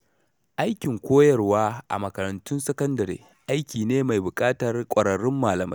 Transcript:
Aikin koyarwa a makarantun sakandare aiki ne mai buƙatar ƙwararrun malamai.